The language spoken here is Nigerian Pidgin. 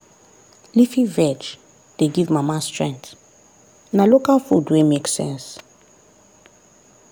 leafy veg dey give mama strength na local food wey make sense.